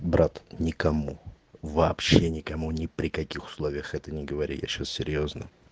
брат никому вообще никому ни при каких условиях это не говори я сейчас серьёзно